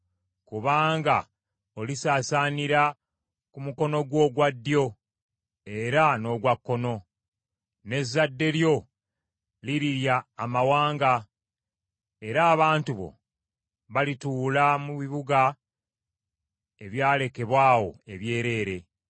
Kubanga olisaasaanira ku mukono gwo ogwa ddyo era n’ogwa kkono, n’ezzadde lyo lirirya amawanga, era abantu bo balituula mu bibuga ebyalekebwa awo ebyereere.